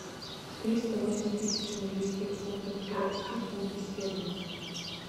триста восемь тысяч английских фунтов перевести в фунты стерлинга